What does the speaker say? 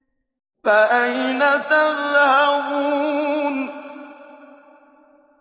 فَأَيْنَ تَذْهَبُونَ